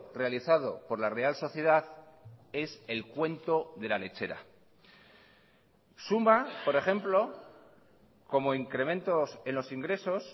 realizado por la real sociedad es el cuento de la lechera suma por ejemplo como incrementos en los ingresos